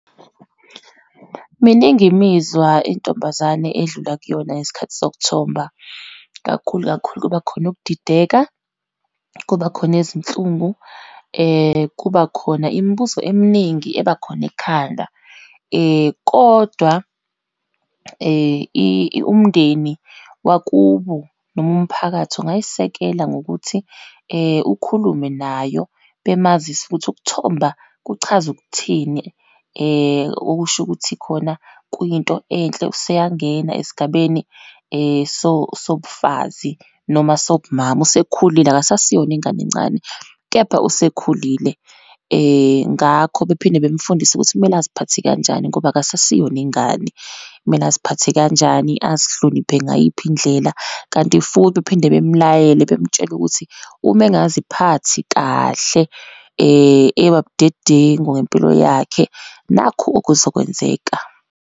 Miningi imizwa intombazane edlula kuyona ngesikhathi sokuthomba, kakhulu kakhulu kuba khona ukudideka, kuba khona izinhlungu, kuba khona imibuzo eminingi ebakhona ekhanda. Kodwa umindeni wakubo, noma umphakathi ungayisekela ngokuthi ukhulume nayo bemazise ukuthi ukuthomba kuchaza ukuthini, okusho ukuthi khona kuyinto enhle, useyangena esigabeni sobufazi, noma sobumama, usekhulile akasasiyona ingane encane, kepha usekhulile. Ngakho bephinde bemfundise ukuthi kumele aziphathe kanjani ngoba akusasiyona ingane, kumele aziphathe kanjani, azihloniphe ngayiphi indlela. Kanti futhi bephinde bemlayele bemtshele ukuthi uma engaziphathi kahle ebabudedengu ngempilo yakhe, nakhu okuzokwenzeka.